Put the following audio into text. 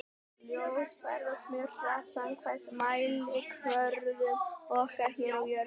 Ljós ferðast mjög hratt samkvæmt mælikvörðum okkar hér á jörðinni.